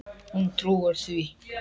Hún trúir því.